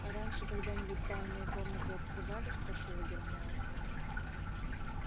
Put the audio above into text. а раньше когда-нибудь тайную комнату открывали спросила гермиона